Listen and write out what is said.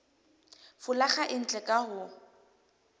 folaga e ntle ka ho